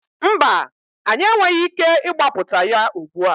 Mba, anyị enweghị ike ịgbapụta ya ugbu a.